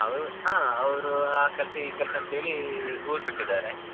ಅವ್ರು ಹಾ ಅವ್ರು ಆ ಕೆಲ್ಸ ಈ ಕೆಲ್ಸ ಅಂತೇಳಿ ಊರು ಬಿಟ್ಟಿದಾರೆ.